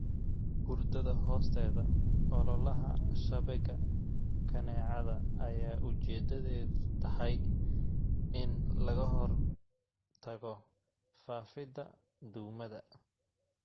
Hurdada hoosteeda ololaha shabagga kaneecada ayaa ujeeddadeedu tahay in laga hortago faafidda duumada.